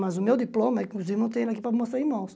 Mas o meu diploma, inclusive, não tenho aqui para mostrar em mãos.